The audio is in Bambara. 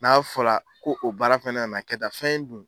N'a fɔra ko o baara fɛnɛ nana kɛ tan fɛn in dun